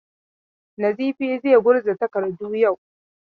Nizifi zai gurza takardu yau.